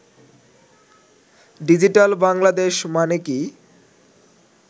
digital Bangladesh মানে কি